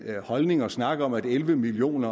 holdning at snakke om at elleve million